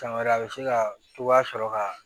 San wɛrɛ a be se ka cogoya sɔrɔ ka